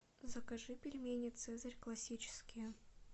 закажи пельмени цезарь классические